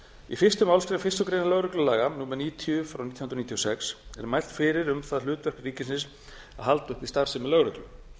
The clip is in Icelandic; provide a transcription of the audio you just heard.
í fyrstu málsgrein fyrstu greinar lögreglulaga númer níutíu nítján hundruð níutíu og sex er mælt fyrir um það hlutverk ríkisins að halda uppi starfsemi lögreglu